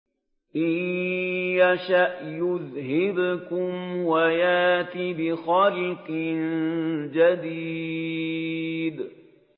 إِن يَشَأْ يُذْهِبْكُمْ وَيَأْتِ بِخَلْقٍ جَدِيدٍ